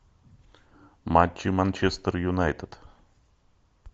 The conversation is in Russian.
матчи манчестер юнайтед